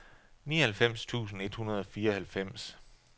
nioghalvfems tusind et hundrede og fireoghalvfems